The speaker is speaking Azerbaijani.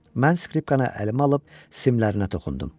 Mən skripkanı əlimə alıb simlərinə toxundum.